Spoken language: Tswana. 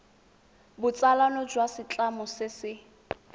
botsalano jwa setlamo se se